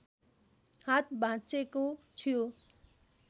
हात भाँचेको थियो